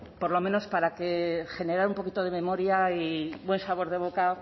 por lo menos para generar un poquito de memoria y buen sabor de boca